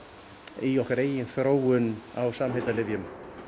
í okkar eigin þróun á samheitalyfjum